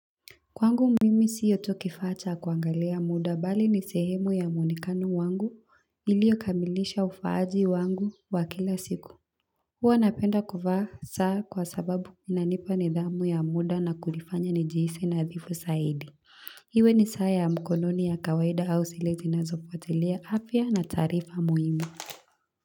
Kwangu mimi siyo tu kifaa cha kuangalia muda bali ni sehemu ya mwonekano wangu iliyokamilisha ufaaji wangu wa kila siku. Huwa napenda kuvaa saa kwa sababu inanipa nidhamu ya muda na kunifanya nijihisi nadhifu zaidi. Iwe ni saa ya mkononi ya kawaida au zile zinazopotelea afya na taarifa muhimu.